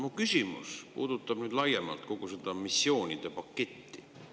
Mu küsimus puudutab laiemalt kogu seda missioonide paketti.